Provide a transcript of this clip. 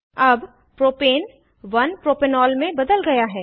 अब propane 1 propanol में बदल गया है